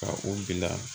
Ka u bila